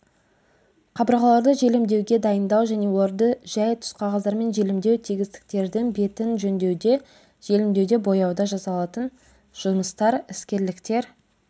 қабырғаларды желімдеуге дайындау және оларды жәй түсқағаздармен желімдеу тегістіктердің бетін жөндеуде желімдеуде бояуда жасалатын жұмыстар іскерліктер